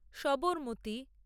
Sabarmati